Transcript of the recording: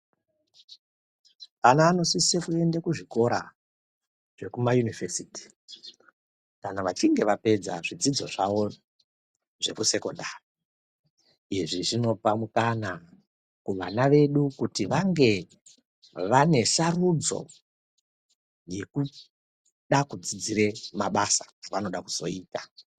Ana anosise kuende kuzvikora zvemayunivhesiti kana vachinge vapedza zvidzidzo zvavo zvekusekondaei, izvi zvinopa mukana kuvana vedu kuti vange vane sarudzo yekuda kudzidzire mabasa avanoda kuzoita.